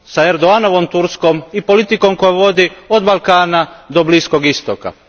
Erdoganovom Turskom i politikom koju vodi od Balkana do Bliskog istoka.